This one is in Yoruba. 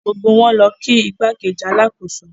Gbogbo wọn lọ kí igbákejì alákòóso.